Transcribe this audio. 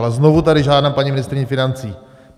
Ale znovu tady žádám paní ministryni financí.